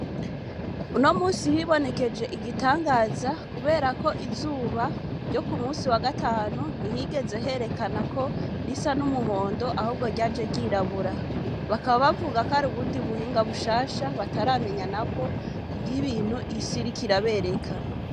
Uno munsi hibonekeje igitangaza kuberako izuba ryo ku munsi wa gatanu ntihigeze herekana ko risa n'umuhondo ahubwo ryaje ryirabura bakaba bavuga ko ari ubundi buhinga bushasha bataramenya nabo ivyibintu isi iriko irabereka.